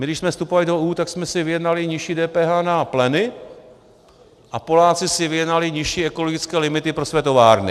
My když jsme vstupovali do EU, tak jsme si vyjednali nižší DPH na pleny, a Poláci si vyjednali nižší ekologické limity pro své továrny.